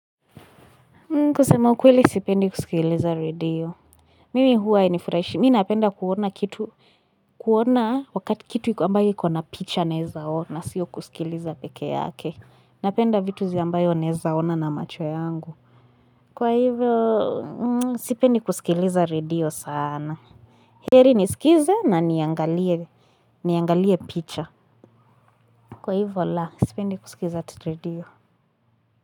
Kusema ukweli sipendi kusikiliza radio. Mimi huwa hainifurashi. Mi napenda kuona kitu. Kuona wakati kitu ambayo ikuona picha neza ona sio kusikiliza peke yake. Napenda vitu zi ambayo nezaona na macho yangu. Kwa hivyo sipendi kusikiliza radio sana. Heri nisikize na niangalie niangalie picha. Kwa hivyo la sipendi kusikiliza radio.